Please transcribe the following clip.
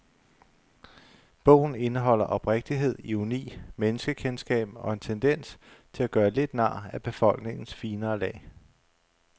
Bogen indeholder oprigtighed, ironi, menneskekendskab og en tendens til at gøre lidt nar af befolkningens finere lag.